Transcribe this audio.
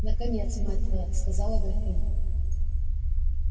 наконец мать твоя сказала графиня